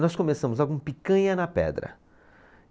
Nós começamos só com picanha na pedra.